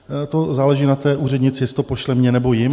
To záleží na té úřednici, jestli to pošle mně, nebo jim.